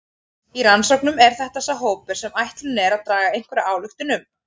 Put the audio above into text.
Í rannsóknum er þetta sá hópur sem ætlunin er að draga einhverja ályktun um.